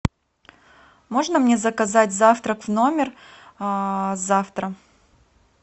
можно мне заказать завтрак в номер завтра